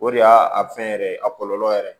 O de y'a a fɛn yɛrɛ a kɔlɔlɔ yɛrɛ ye